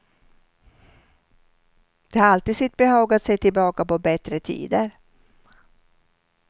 Det har alltid sitt behag att se tillbaka på bättre tider.